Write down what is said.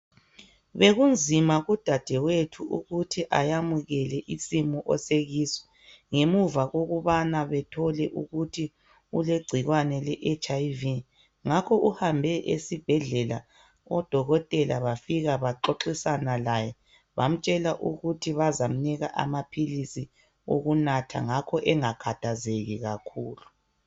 Bekunzima kudadewethu ukuthi ayamukele isimo asekuso ngemva kokubana bathole ukuthi ulegciwane le HIV. Ngakho uhambe esibhedlela odokotela bafika baxoxisane laye bamtshela ukuthi bazamnika amaphilisi okunatha ngakho engakhathazeki kakhulu.